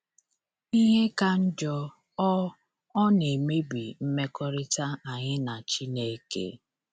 Ihe ka njọ, ọ ọ na-emebi mmekọrịta anyị na Chineke.